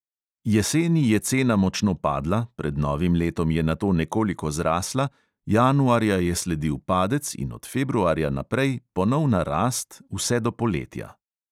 Jeseni je cena močno padla, pred novim letom je nato nekoliko zrasla, januarja je sledil padec in od februarja naprej ponovna rast vse do poletja.